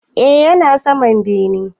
E, yana saman bene.